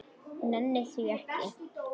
Nenni því ekki